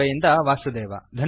ಬಾಂಬೆಯಿಂದ ವಾಸುದೇವ